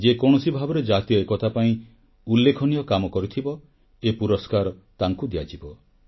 ଯିଏ କୌଣସି ଭାବରେ ଜାତୀୟ ଏକତା ପାଇଁ ଉଲ୍ଲେଖନୀୟ କାମ କରିଥିବ ଏ ପୁରସ୍କାର ତାଙ୍କୁ ଦିଆଯିବ